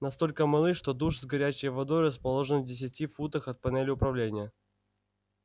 настолько малы что душ с горячей водой расположен в десяти футах от панели управления